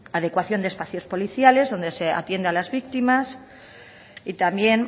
adecuación de espacios policiales donde se atiende a las víctimas y también